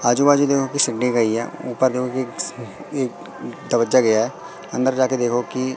आजू बाजू दिखागे सीढ़ी गई है ऊपर देखोगे एक तबज्जा गया है।